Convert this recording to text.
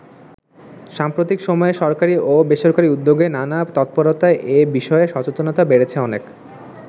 সাম্প্রতিক সময়ে সরকারী ও বেসরকারি উদ্যোগে নানা তৎপরতায় এ বিষয়ে সচেতনতা বেড়েছে অনেক।